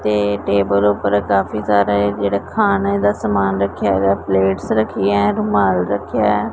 ਤੇ ਟੇਬਲ ਉਪਰ ਕਾਫੀ ਸਾਰਾ ਏ ਜਿਹੜਾ ਖਾਣੇ ਦਾ ਸਮਾਨ ਰੱਖਿਆ ਹੇਗਾ ਪਲੇਟਸ ਰੱਖੀ ਹ ਰੁਮਾਲ ਰੱਖਿਆ ਏ।